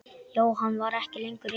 Jóhann var ekki lengur reiður.